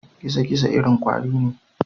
Gizo-gizo irin kwari ne.